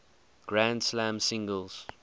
grand slam singles